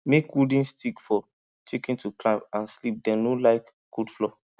make wooden stick for chicken to climb and sleep dem no like cold floor